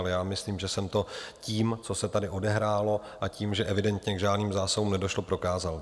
Ale já myslím, že jsem to tím, co se tady odehrálo a tím, že evidentně k žádným zásahům nedošlo, prokázal.